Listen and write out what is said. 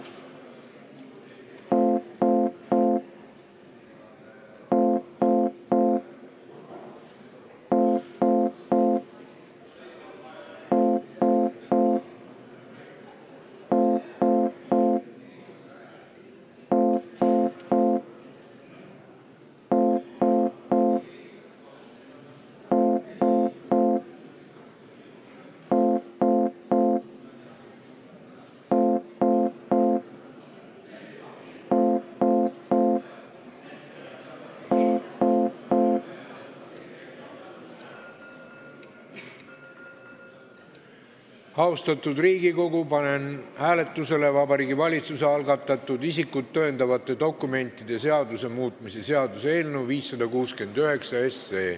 Austatud Riigikogu, panen hääletusele Vabariigi Valitsuse algatatud isikut tõendavate dokumentide seaduse muutmise seaduse eelnõu 569.